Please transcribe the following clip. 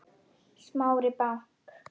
Smári bank